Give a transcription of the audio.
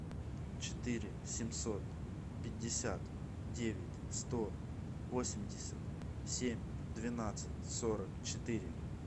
четыре семьсот пятьдесят девять сто восемьдесят семь двенадцать сорок четыре